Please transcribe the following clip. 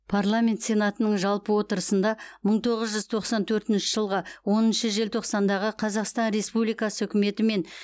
парламент сенатының жалпы отырысында мың тоғыз жүз тоқсан төртінші жылғы оныншы желтоқсандағы қазақстан республикасы үкіметі мен